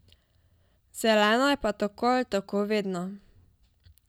Zelena je pa tako ali tako vedno.